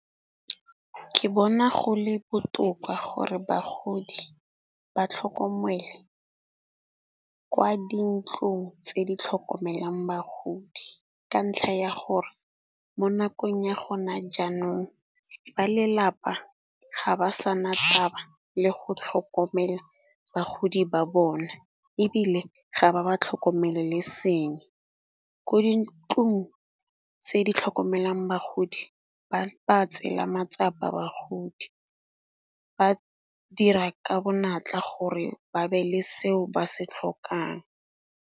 Ke bona go le botoka gore bagodi ba tlhokomele kwa di ntlong tse di tlhokomelang bagodi. Ka ntlha ya gore mo nakong ya gona jaanong ba lelapa ga ba sa na taba le go tlhokomela bagodi ba bona, ebile ga ba ba tlhokomele le seng. Ko dintlong tse di tlhokomelang bagodi ba ba tseela matsapa bagodi, ba dira ka bonatla gore ba be le seo ba se tlhokang.